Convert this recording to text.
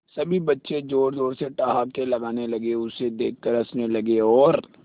सभी बच्चे जोर जोर से ठहाके लगाने लगे उसे देख कर हंसने लगे और